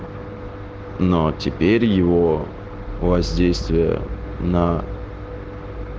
но теперь его воздействие на